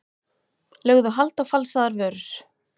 Lögðu hald á falsaðar vörur